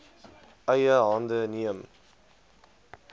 eie hande neem